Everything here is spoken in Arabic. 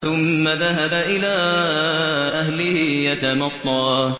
ثُمَّ ذَهَبَ إِلَىٰ أَهْلِهِ يَتَمَطَّىٰ